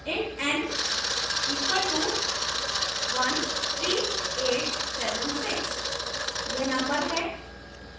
int n equal to 13876 यह number है